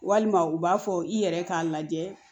Walima u b'a fɔ i yɛrɛ k'a lajɛ